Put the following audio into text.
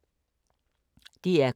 DR K